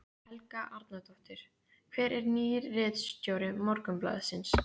Helga Arnardóttir: Hver er nýr ritstjóri Morgunblaðsins?